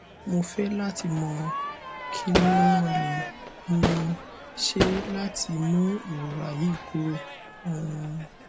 mo fẹ lati mọ kini mo le um ṣe lati mu irora yi kuro um